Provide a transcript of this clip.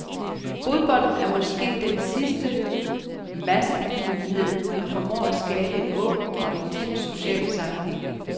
Fodbolden er måske den sidste massebegivenhed, der formår at skabe en åben og intens social sammenhæng.